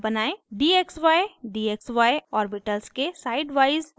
dxydxy orbitals के sideवाइज overlap बनायें